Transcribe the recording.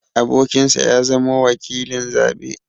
Abokinsa ya zamo wakilin zaɓe.